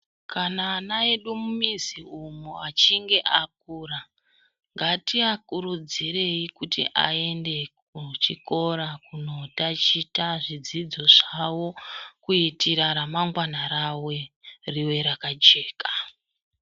Kana ana edu mumizi umwo achinge akura ngatiakurudzirei kuti aende kuchikora kunotachita zvidzidzo zvawo kuitira ramangwana rawerive rakajeka.